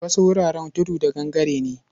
Wasu wuraren tudu da gangare ne.